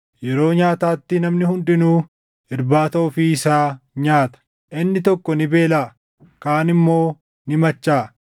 yeroo nyaataatti namni hundinuu irbaata ofii isaa nyaata. Inni tokko ni beelaʼa; kaan immoo ni machaaʼa.